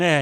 Ne.